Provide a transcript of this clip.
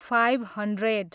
five hundred